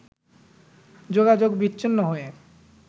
যোগাযোগ বিচ্ছিন্ন হয়ে